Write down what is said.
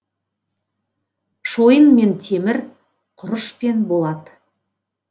шойын мен темір құрыш пен болат